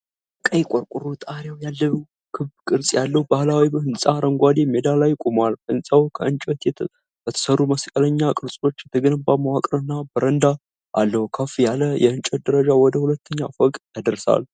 ቀይ ቆርቆሮ ጣሪያ ያለው ክብ ቅርጽ ያለው ባህላዊ ሕንፃ አረንጓዴ ሜዳ ላይ ቆሟል። ሕንፃው ከእንጨት በተሠሩ መስቀልኛ ቅርጾች የተገነባ መዋቅርና በረንዳ አለው። ከፍ ያለ የእንጨት ደረጃ ወደ ሁለተኛው ፎቅ ያደርሳል።